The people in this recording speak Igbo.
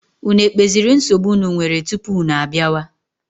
Unu ekpeziri nsogbu unu nwere tupu unu abịawa?